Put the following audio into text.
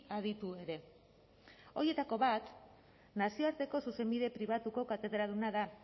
aditu ere horietako bat nazioarteko zuzenbide pribatuko katedraduna da